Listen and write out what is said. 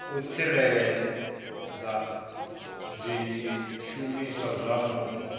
u tsireledza zwishumiswa zwa mupo